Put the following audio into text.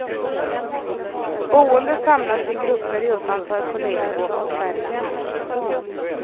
Boende samlades i grupper utanför polisens avspärrningar.